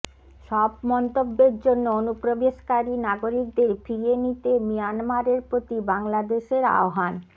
সব মন্তব্যের জন্য অনুপ্রবেশকারী নাগরিকদের ফিরিয়ে নিতে মিয়ানমারের প্রতি বাংলাদেশের আহ্বান